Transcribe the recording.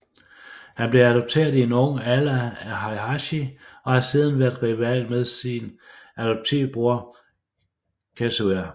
Han blev adopteret i en ung alder af Heihachi og har siden været rival med sin adoptiv bror Kazuya